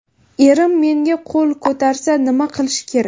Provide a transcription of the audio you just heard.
Erim menga qo‘l ko‘tarsa nima qilish kerak?